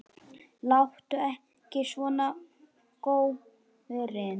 Láttu ekki svona, góurinn